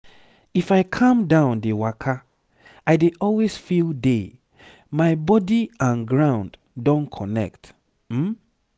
if i calm down dey waka i dey always feel day my body and ground don connect um